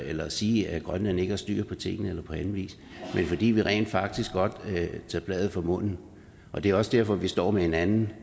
eller sige at grønland ikke har styr på tingene men fordi vi rent faktisk godt vil tage bladet fra munden og det er også derfor vi står med et andet